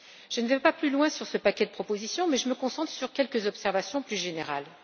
Je n'irai pas plus loin sur ce paquet de propositions, et je me concentrerai sur quelques observations plus générales.